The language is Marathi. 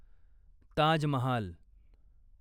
ताज महाल